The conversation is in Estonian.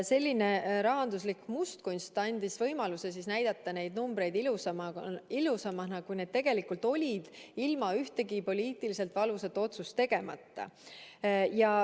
Selline rahanduslik mustkunst andis võimaluse näidata neid numbreid ilusamana, kui need tegelikult olid, ilma ühtegi poliitiliselt valusat otsust tegemata.